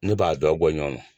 Ne b'a dɔn bɔ ɲɔgɔn na.